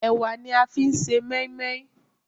Ẹ̀wà ni a fi ń se mọ́ímọ́í